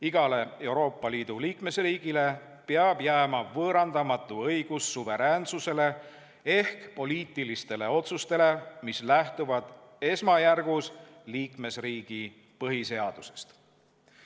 Igale Euroopa Liidu liikmesriigile peab jääma võõrandamatu õigus suveräänsusele ehk poliitilistele otsustele, mis lähtuvad esmajärgus liikmesriigi põhiseadusest.